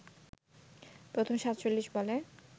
প্রথম ৪৭ বলে